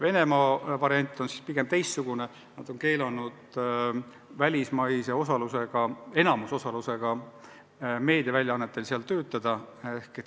Venemaa lähenemine on teistsugune: välismaise enamusosalusega meediaväljaannetel ei lubata seal tegutseda.